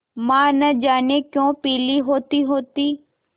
माँ न जाने क्यों पीली होतीहोती